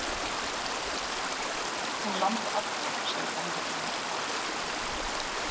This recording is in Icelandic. Hún lamdi alla, sagði gamla konan.